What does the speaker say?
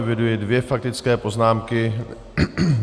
Eviduji dvě faktické poznámky.